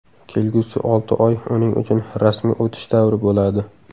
Kelgusi olti oy uning uchun rasmiy o‘tish davri bo‘ladi.